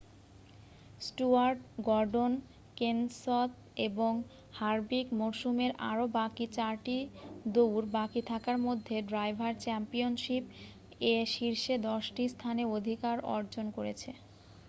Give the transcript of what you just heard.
Stewart Gordon Kenseth এবং Harvick মরসুমের আরও বাকি চারটি দৌড় বাকি থাকার মধ্যে ড্রাইভার চ্যাম্পিয়নশিপ এ শীর্ষ দশটি স্থানে অধিকার অর্জন করেছে